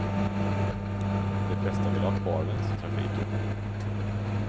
De flesta ville ha kvar vänstertrafiken.